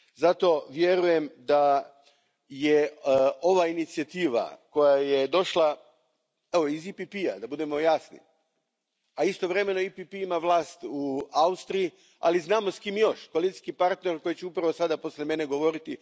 Zato vjerujem da je ova inicijativa koja je došla iz EPP a, da budemo jasni, a istovremeno EPP ima vlast u Austriji, ali znamo s kime još, s koalicijskim partnerom s kojim će upravo sada poslije mene govoriti.